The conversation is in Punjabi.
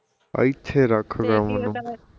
ਆਇਥੇ ਰੱਖ ਕੰਮ ਨੂੰ